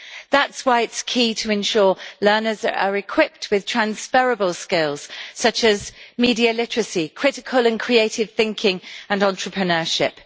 That's why it is key to ensure that learners are equipped with transferable skills such as media literacy, critical and creative thinking and entrepreneurship.